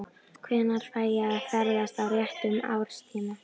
Hvenær fæ ég að ferðast á réttum árstíma?